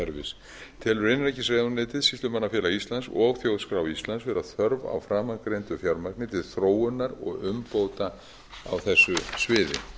málaskrárkerfis telur innanríkisráðuneytið sýslumannafélag íslands og þjóðskrá íslands vera þörf á framangreindu fjármagni til þróunar og umbóta á þessu sviði